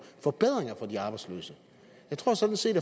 forbedringer for de arbejdsløse jeg tror sådan set